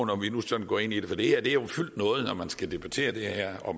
når vi nu sådan går ind i det har det her jo fyldt noget når man skal debattere det her og